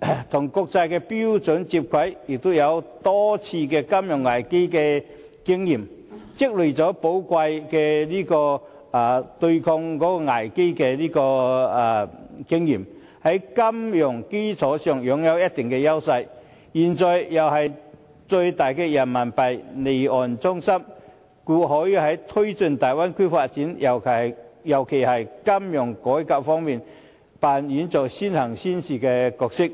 標準接軌，也曾多次面對金融危機的考驗，積累了對抗危機的寶貴經驗，在金融基礎上擁有一定的優勢，現在又是最大的人民幣離岸中心，故可在推進大灣區發展，尤其是金融改革方面，扮演着"先行先試"的角色。